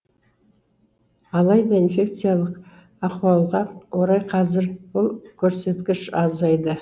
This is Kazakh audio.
алайда инфекциялық ахуалға орай қазір бұл көрсеткіш азайды